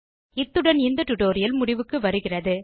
இத்துடன் இந்த டுடோரியல் முடிவுக்கு வருகிறது